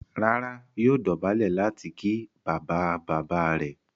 Rárá, yóò dọ̀bálẹ̀ láti ki bàbáabàbáa rẹ̀.